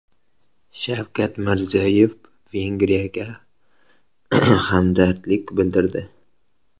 Shavkat Mirziyoyev Vengriyaga hamdardlik bildirdi.